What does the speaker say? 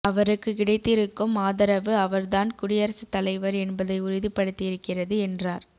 அவருக்கு கிடைத்திருக்கும் ஆதரவு அவர்தான் குடியரசுத் தலைவர் என்பதை உறுதிப்படுத்தியிருக்கிறது என்றார்